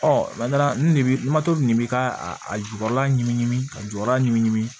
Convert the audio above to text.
lamato nin bɛ ka a jukɔrɔla ɲimi ka jukɔrɔla ɲinini